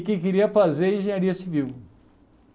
E que queria fazer engenharia civil.